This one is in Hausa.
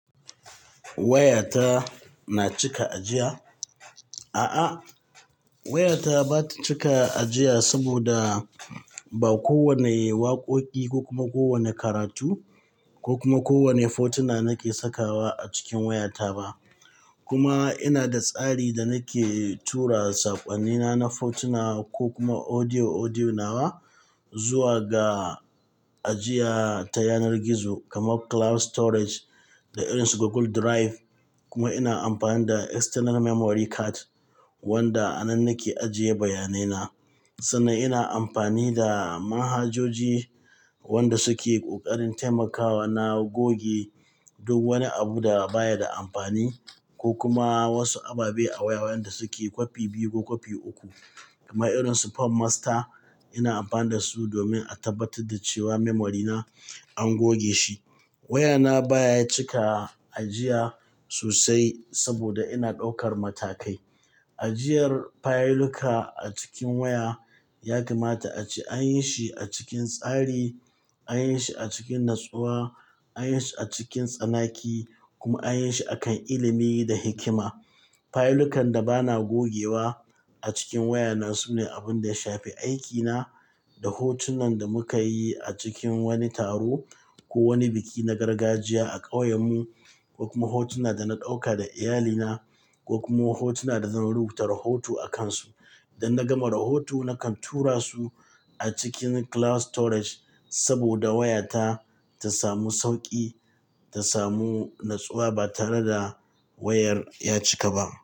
Wayata na cika ajiya? A'a, wayata ba ta cika ajiya saboda ba kowane waƙoƙi ko kuma kowane karatu ko kuma kowane hotuna nake sakawa a cikin wayata ba. Kuma ina da tsari da nake tura saƙwannina na hotuna ko kuma audio-audio nawa zuwa ga ajiya ta yanar gizo kamar cloud storage da irin su Google Drive. Kuma ina amfani da external memory card wanda a nan nake ajiye bayanai na. Sannan ina amfani da manhajoji wanda suke ƙoƙarin taimakawa na goge duk wani abu da baya da amfani ko kuma wasu ababe a waya wanda suke kwafi biyu ko kwafi uku kamar irin su form Master. Ina amfani da su domin a tabbatar da cewa memory na an goge shi. Wayana baya cika ajiya sosai saboda ina ɗaukar matakai. Ajiyar fayiluka a cikin waya ya kamata ace an yi shi a cikin tsari, an yi shi a cikin natsuwa, an yi shi a cikin tsanaki kuma an yi shi akan ilimi da hikima. Fayilukan da bana gogewa a cikin wayana su ne abin da ya shafi aikina da hotunan da muka yi a cikin wani taro ko wani biki na gargajiya a ƙauyen mu, ko kuma hotuna da na ɗauka da iyalina ko kuma hotuna da zan rubuta rahoto a kansu. Idan na gama rahoto, nakan tura su a cikin cloud storage saboda wayata ta samu sauƙi, ta samu natsuwa ba tare da wayar ya cika ba.